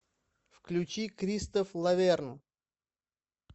включи кристоф лаверн